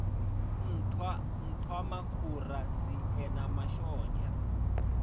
nṱhwa nṱhwamakhura nzie na mashonzha